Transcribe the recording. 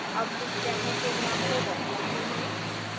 अब इस demo program को now करते हैं